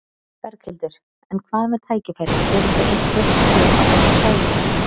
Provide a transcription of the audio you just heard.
Berghildur: En hvað með tækifærin, eru þau einhver hér á þessu svæði?